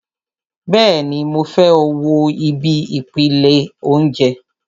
Bẹ́ẹ̀ni, mo fẹ́ wo ibi ìpele óúnjẹ